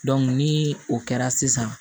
ni o kɛra sisan